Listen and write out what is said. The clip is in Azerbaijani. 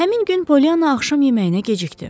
Həmin gün Polyanna axşam yeməyinə gecikdi.